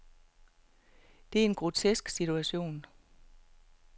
Det er en grotesk situation.